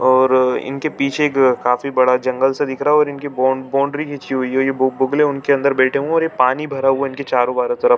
और इनके पीछे काफी बड़ा जंगल सा दिख रहा और इनके बोन बाउंड्री खिची हुई है। ये बो बोगले उनके अंदर बैठे हुए है और ये पानी भार वहाँ उनके चारो बारो तरफ--